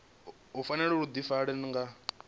u fanela u ḓifara nga